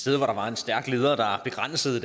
sted hvor der var en stærk leder der begrænsede